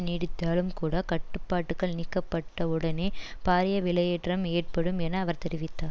நீடித்தாலும் கூட கட்டுப்பாட்டுகள் நீக்கப்பட்ட உடனே பாரிய விலையேற்றம் ஏற்படும் என அவர் தெரிவித்தார்